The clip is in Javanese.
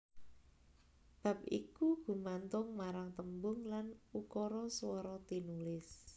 Bab iku gumantung marang tembung lan ukara swara tinulis